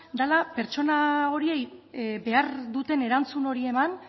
dela pertsona horiei behar duten erantzun hori eman